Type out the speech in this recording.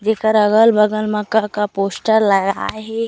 जेखर अगल-बगल म का-का पोस्टर लगाए हे।